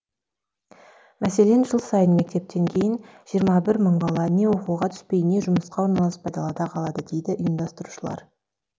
мәселен жыл сайын мектептен кейін жиырма бір мың бала не оқуға түспей не жұмысқа орналаспай далада қалады дейді ұйымдастырушылар